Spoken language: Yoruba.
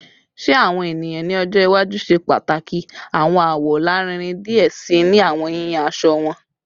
Ṣe awọn eniyan ni ọjọ iwaju ṣe pataki awọn awọ larinrin diẹ sii ni awọn yiyan aṣọ wọn?